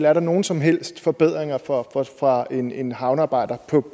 er der nogen som helst forbedringer for for en en havnearbejder